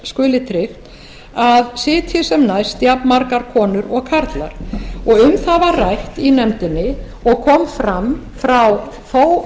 skuli tryggt að sitji sem næst jafnmargar konur og karlar um það var rætt í nefndinni og kom fram frá þó